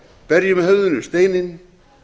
berjum höfðinu við steininn